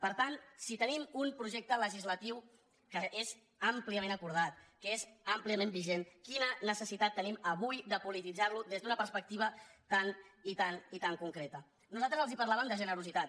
per tant si tenim un projecte legislatiu que és àmpliament acordat que és àmpliament vigent quina necessitat tenim avui de polititzar lo des d’una perspectiva tan i tan i tan concreta nosaltres els parlàvem de generositat